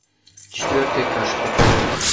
четвертый этаж покажи